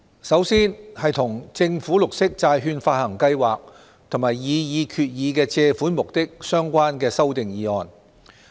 首先是與政府綠色債券發行計劃及擬議決議案的借款目的相關的修訂議案。